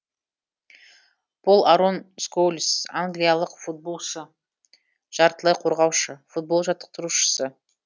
пол арон скоулз англиялық футболшы жартылай қорғаушы футбол жаттықтырушысы